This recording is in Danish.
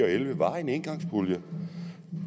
og elleve var en engangspulje